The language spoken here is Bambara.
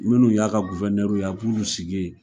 Minnu y'a ka ye a b'olu sigi yen.